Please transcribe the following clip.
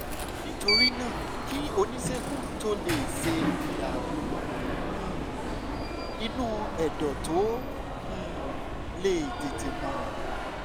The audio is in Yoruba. nítorí náà kí oníṣègùn tó lè ṣe ìdààmú um inú ẹ̀dọ̀ tó um lè tètè mọ̀